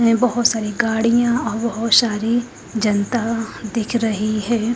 मे बहोत सारी गाड़ियां औ औ बहोत सारी जनता दिख रही है।